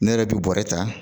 Ne yɛrɛ bi bɔrɛ ta